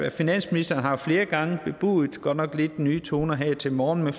at finansministeren flere gange har bebudet godt nok lidt nye toner her til morgen